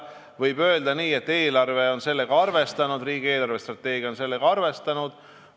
Võib öelda, et eelarves on sellega arvestatud ja riigi eelarvestrateegias on sellega arvestatud.